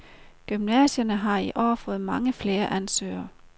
Gymnasierne har i år fået mange flere ansøgere.